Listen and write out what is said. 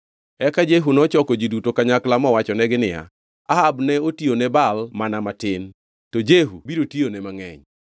Eka Jehu nochoko ji duto kanyakla mowachonegi niya, “Ahab ne otiyone Baal mana matin, to Jehu biro tiyone mangʼeny.